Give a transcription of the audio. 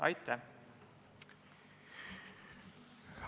Aitäh!